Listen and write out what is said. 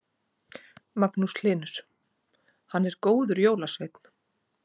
Magnús Hlynur: Hann er góður jólasveinn?